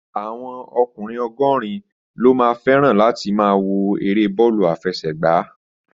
Àwọn ọkùnrin ogorin lo ma feran láti ma wo èrè bọọlu afesegba